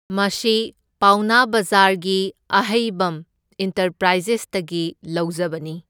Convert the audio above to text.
ꯃꯁꯤ ꯄꯥꯎꯅꯥ ꯕꯖꯥꯔꯒꯤ ꯑꯍꯩꯕꯝ ꯏꯟꯇꯔꯄ꯭ꯔꯥꯏꯖꯦꯁꯇꯒꯤ ꯂꯧꯖꯕꯅꯤ꯫